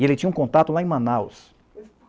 E ele tinha um contato lá em Manaus.